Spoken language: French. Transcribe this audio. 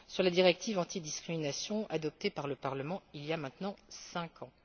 sur la directive antidiscrimination adoptée par le Parlement il y a maintenant cinq ans.